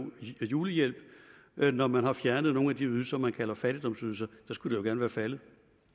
julehjælp når man har fjernet nogle af de ydelser man kalder fattigdomsydelser så skulle det være faldet